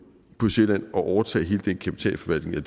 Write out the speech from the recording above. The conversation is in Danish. på sjælland at overtage hele den kapitalforvaltning eller